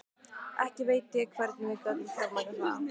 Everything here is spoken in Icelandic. Ekki veit ég hvernig við gátum fjármagnað það.